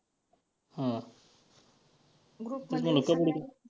हां group मध्ये